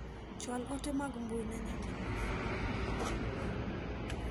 Chwal ote mag mbui ne nyaminwa .